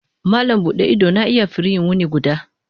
Malam buɗe ido na iya firiyi wuni guda.